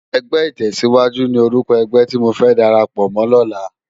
Ègbè itèsíwájú ni órúkò ègbè ti mó dàrápò mò làná